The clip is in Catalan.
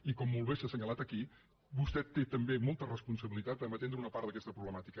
i com molt bé s’ha assenyalat aquí vostè té també molta responsabilitat a atendre una part d’aquesta problemàtica